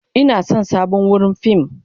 Ina son sabon wurin fim.